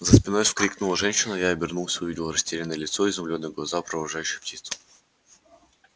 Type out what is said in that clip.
за спиной вскрикнула женщина я обернулся увидел растерянное лицо изумлённые глаза провожающие птицу